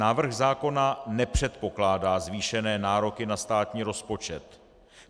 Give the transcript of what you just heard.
Návrh zákona nepředpokládá zvýšené nároky na státní rozpočet.